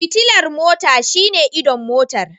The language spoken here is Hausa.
Fitilar mota shine idon Motar.